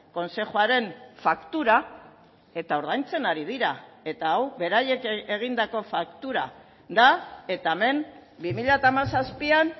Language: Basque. kontzejuaren faktura eta ordaintzen ari dira eta hau beraiek egindako faktura da eta hemen bi mila hamazazpian